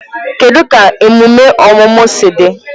Kedụ ka emume ọmụmụ si dị?